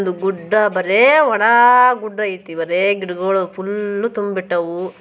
ಗುಡ್ಡಾವಣ ಬಾರೆ ವನ ಗುಡ್ಡ ಐತೆ ಬರೆ ಗಿಡಗಳು ಫುಲ್ ತುಂಬಿಕ್ಬಿ ಕೊಂಡಿವೆ